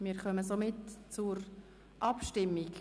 Wir kommen somit zur Abstimmung.